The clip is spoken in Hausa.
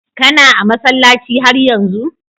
Kana a'masallaci har yanzu?